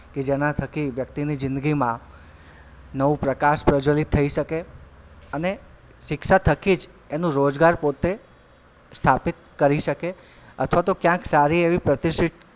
કે જેનાં થકી વ્યક્તિની જીંદગીમાં નવું પ્રકાશ પ્રજ્વલિત થઇ શકે અને શિક્ષા થકી જ એનું રોજગાર પોતે સ્થાપિત કરી શકે અથવા તો કયાંક સારી એવી પ્રતિષ્ઠીત,